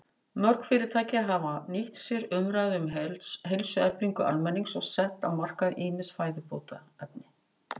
Mörg fyrirtæki hafa nýtt sér umræðu um heilsueflingu almennings og sett á markað ýmis fæðubótarefni.